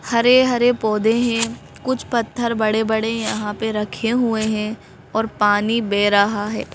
हरे-हरे पौधे हैं कुछ पत्थर बड़े-बड़े यहाँ पे रखे हुए हैं और पानी बह रहा है।